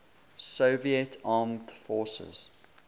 soviet armed forces